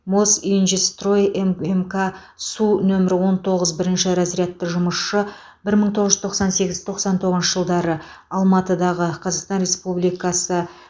мосинжстрой ммк су нөмір он тоғыз бірінші разрядты жұмысшы бір мың тоғыз жүз тоқсан сегіз тоқсан тоғызыншы жылдары алматыда қазақстан республикасы